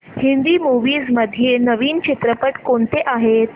Hindi movies मध्ये नवीन चित्रपट कोणते आहेत